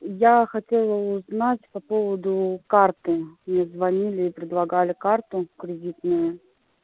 я хотела узнать по поводу карты мне звонили и предлагали карту кредитную